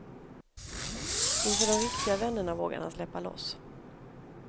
Inför de riktiga vännerna vågade han släppa loss.